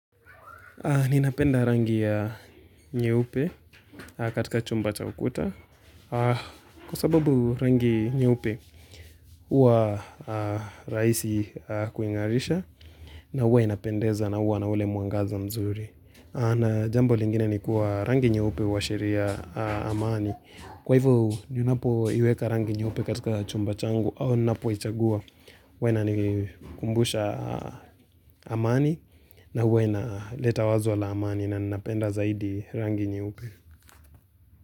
Ninapenda rangi ya nyeupe katika chumba cha ukuta kwasababu rangi nyeupe huwa rahisi kuing'arisha na huwa inapendeza na huwa na ule mwangaza mzuri. Na jambo lingine ni kuwa rangi nyeupe huashiria amani Kwa hivyo ninapoiweka rangi nyeupe katika chumba changu au ninapoichagua huwa inanikumbusha amani na huwa inaleta wazo la amani na napenda zaidi rangi nyeupe.